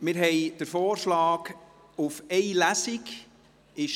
Es liegt der Vorschlag, nur eine Lesung durchzuführen, vor.